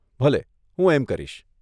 ભલે, હું એમ કરીશ.